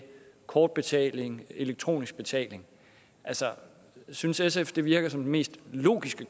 kortbetaling elektronisk betaling altså synes sf at det virker som den mest logiske